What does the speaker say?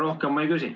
Rohkem ma ei küsi.